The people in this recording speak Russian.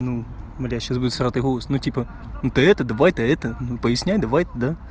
ну бля сейчас будет всратый голос ну типа ну ты это давай то это ну поясняй давай ты да